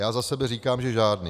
Já za sebe říkám, že žádný.